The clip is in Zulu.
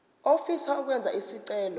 ofisa ukwenza isicelo